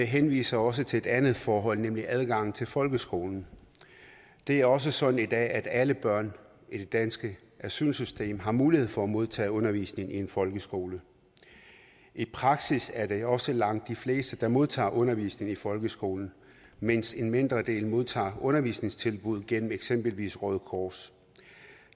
henviser også til et andet forhold nemlig adgangen til folkeskolen det er også sådan i dag at alle børn i det danske asylsystem har mulighed for at modtage undervisning i en folkeskole i praksis er det også langt de fleste der modtager undervisning i folkeskolen mens en mindre del modtager undervisningstilbud gennem eksempelvis røde kors